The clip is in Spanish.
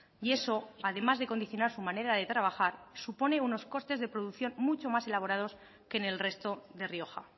y eso además de condicionar su manera de trabajar supone unos costes de producción mucho más elaborados que en el resto de rioja